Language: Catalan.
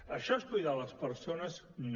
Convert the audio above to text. això és cuidar les persones no